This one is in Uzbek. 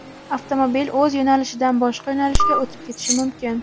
avtomobil o‘z yo‘nalishidan boshqa yo‘nalishga o‘tib ketishi mumkin.